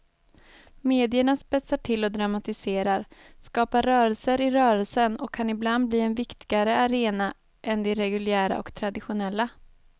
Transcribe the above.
Medierna spetsar till och dramatiserar, skapar rörelser i rörelsen och kan ibland bli en viktigare arena än de reguljära och traditionella.